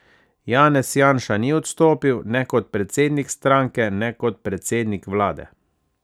Janez Janša ni odstopil ne kot predsednik stranke ne kot predsednik vlade.